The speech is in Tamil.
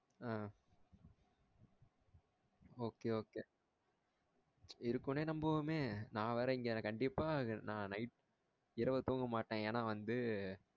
ஆஹ் okay okay இருக்குனே நம்புவுமே நா வேற இங்க கண்டிப்பா நான் night இரவு தூங்க மாட்டேன் ஏனா வந்து